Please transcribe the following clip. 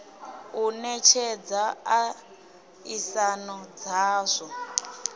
u netshedza a isano dzazwo